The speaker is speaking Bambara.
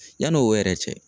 Yann'o yɛrɛ cɛ.